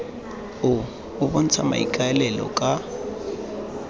o o bontshang maikaelelo ka